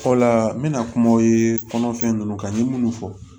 Fɔlɔ la n bɛna kumaw ye kɔnɔfɛn ninnu kan n ye minnu fɔ